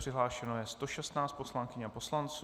Přihlášeno je 116 poslankyň a poslanců.